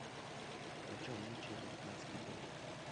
почем нынче американский доллар